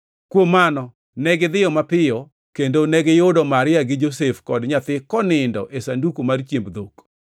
Kuom mano negidhiyo mapiyo kendo negiyudo Maria gi Josef kod nyathi konindo e sanduku mar chiemb dhok.